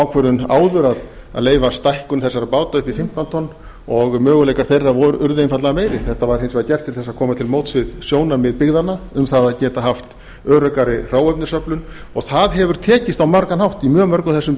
ákvörðun áður að leyfa stækkun þessara báta upp í fimmtán tonn og möguleikar þeirra urðu einfaldlega meiri þetta var hins vegar gert til þess að koma til móts við sjónarmið byggðanna um það að geta haft öruggari hráefnisöflun og það hefur tekist á margan hátt í mjög mörgum þessara